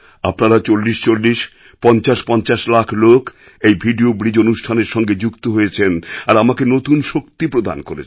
আপনারা ৪০৪০ ৫০৫০ লাখ লোক এই ভিডিও ব্রিজ অনুষ্ঠানের সঙ্গে যুক্ত হয়েছেন আর আমাকে নতুন শক্তি প্রদান করেছেন